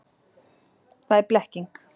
Það er blekking.